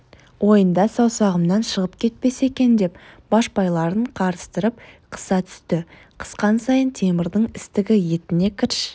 ойында саусағымнан шығып кетпесе екен деп башпайларын қарыстырып қыса түсті қысқан сайын темірдің істігі етіне кірш